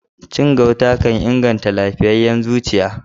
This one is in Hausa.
Cin gauta kan inganta lafiyayen zuciya.